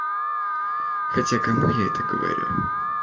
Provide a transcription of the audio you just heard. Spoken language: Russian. хотя кому я это говорю